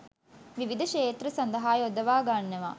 විවිධ ක්‍ෂේත්‍ර සඳහා යොදවා ගන්නවා